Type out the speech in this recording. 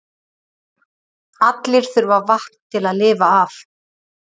allir þurfa vatn til að lifa af